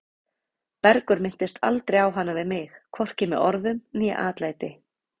Bergur minntist aldrei á hana við mig, hvorki með orðum né atlæti.